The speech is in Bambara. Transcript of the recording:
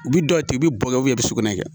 U bi dɔ tigɛ u bi bo kɛ u bi sugunɛ kɛ